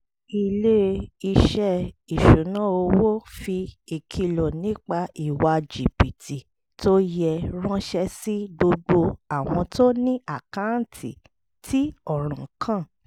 ilé-iṣẹ́ ìṣúnná owó fi ìkìlọ̀ nípa ìwà jìbìtì tó yẹ ránṣẹ́ sí gbogbo àwọn tó ní àkáǹtì tí ọ̀ràn kàn